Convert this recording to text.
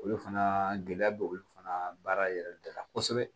Olu fana gɛlɛya bɛ olu fana baara yɛrɛ bɛɛ la kosɛbɛ